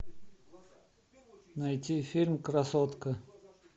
найти фильм красотка